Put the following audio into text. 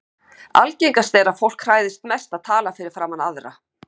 Algengast er að fólk hræðist mest að tala fyrir framan aðra.